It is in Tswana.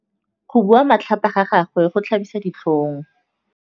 Go bua matlhapa ga gagwe go tlhabisa ditlhong.